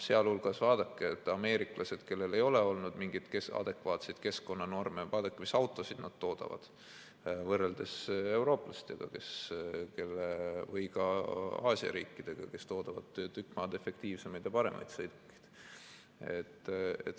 Sealjuures, vaadake ameeriklasi, kellel ei ole olnud mingeid adekvaatseid keskkonnanorme – mis autosid nad toodavad võrreldes eurooplastega või ka Aasia riikidega, kes toodavad tükk maad efektiivsemaid ja paremaid sõidukeid.